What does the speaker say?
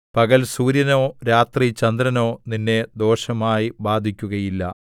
പകൽ സൂര്യനോ രാത്രി ചന്ദ്രനോ നിന്നെ ദോഷമായി ബാധിക്കുകയില്ല